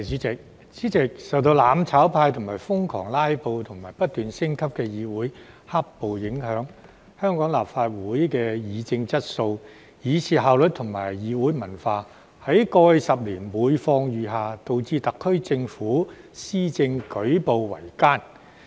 主席，受到"攬炒派"瘋狂"拉布"及不斷升級的議會"黑暴"影響，香港立法會的議政質素以至效率和議會文化，在過去10年每況愈下，導致特區政府施政舉步維艱。